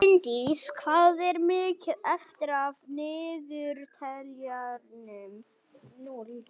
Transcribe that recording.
Bjarndís, hvað er mikið eftir af niðurteljaranum?